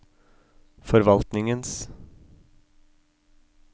forvaltningens